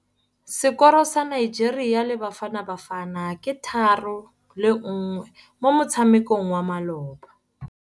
Sekôrô sa Nigeria le Bafanabafana ke 3-1 mo motshamekong wa malôba.